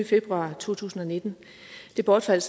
februar to tusind og nitten det bortfaldt